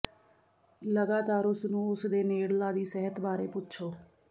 ਲਗਾਤਾਰ ਉਸ ਨੂੰ ਉਸ ਦੇ ਨੇੜਲਾ ਦੀ ਸਿਹਤ ਬਾਰੇ ਪੁੱਛੋ